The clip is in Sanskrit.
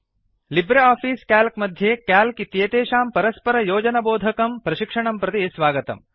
लीब्रे आफिस् क्याल्क् मध्ये क्याल्क् इत्येतेषां परस्परयोजनबोधकं लिंकिंग् प्रशिक्षणं प्रति स्वागतम्